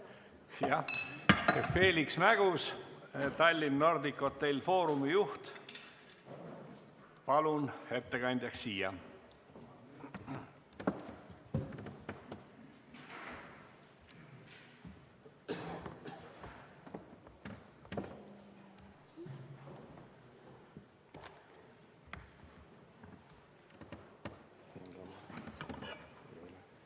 Ja nüüd, Feliks Mägus, Tallinn Nordic Hotell Forumi juht, palun ettekandjaks siia!